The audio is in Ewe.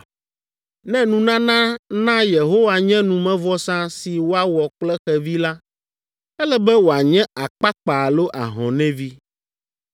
“ ‘Ne nunana na Yehowa nye numevɔsa si woawɔ kple xevi la, ele be wòanye akpakpa alo ahɔnɛvi.